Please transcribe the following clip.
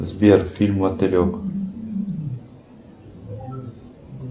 сбер фильм мотылек